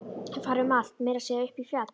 Þeir fara um allt, meira að segja upp í fjall.